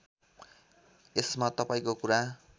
यसमा तपाईँको कुरा